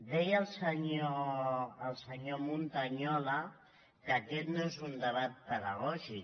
deia el senyor montañola que aquest no és un debat pedagògic